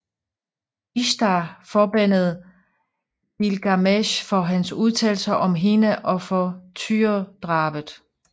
Ishtar forbandede Gilgamesh for hans udtalelser om hende og for tyredrabet